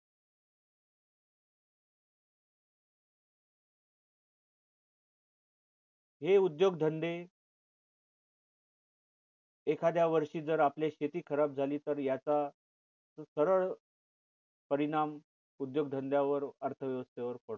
हे उद्योगधंद्ये एखाद्या वर्षी जर आपले शेती खराब झाली तर याचा सरळ परिणाम उद्योगधंद्यावर अर्थवेवस्थेवर होतो